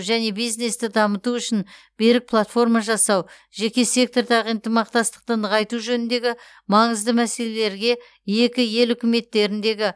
және бизнесті дамыту үшін берік платформа жасау жеке сектордағы ынтымақтастықты нығайту жөніндегі маңызды мәселелерге екі ел үкіметтеріндегі